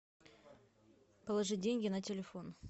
положи деньги на телефон